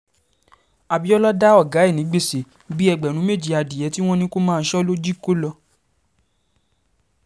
abiola dá ọ̀gá ẹ̀ ní gbèsè bíi ẹgbẹ̀rún méjì adìẹ tí wọ́n ní kó máa sọ ló jí kó lọ